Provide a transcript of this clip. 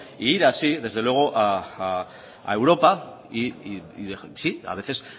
e ir así desde luego a europa y sí a veces